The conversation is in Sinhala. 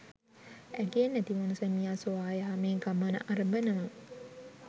ඇගේ නැතිවුණ සැමියා සොයා යාමේ ගමන අරඹනවා